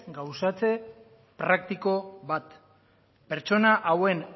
gauzatze praktiko bat pertsona hauen